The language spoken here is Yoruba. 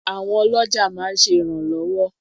Àwọn ọlọ́jà máa ń ṣe ìrànlọ́wọ́.